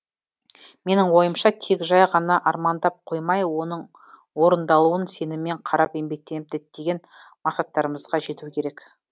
менің ойымша тек жай ғана армандап қоймай оның орындалуын сеніммен қарап еңбектеніп діттеген мақсаттарымызға жету керек